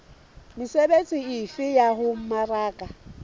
mesebetsi efe ya ho mmaraka